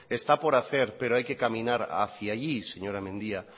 está por hacer pero hay que caminar hacía allí señora mendia